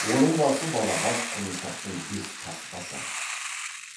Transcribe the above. оның басы балағаз құлыншақтың бес қасқасы